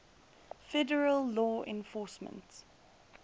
federal law enforcement